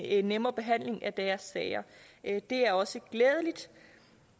en nemmere behandling af deres sager det er også glædeligt